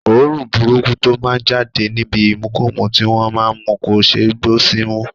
Òórùn burúkú tó má ń jáde níbi ìmukúmu tí wọ́n má ń mu kò ṣeé gbọ́ símú